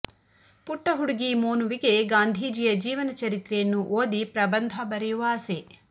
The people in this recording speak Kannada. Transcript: ಪುಟ್ಟ ಹುಡುಗಿ ಮೋನುವಿಗೆ ಗಾಂಧೀಜಿಯ ಜೀವನಚರಿತ್ರೆಯನ್ನು ಓದಿ ಪ್ರಬಂಧ ಬರೆಯುವ ಆಸೆ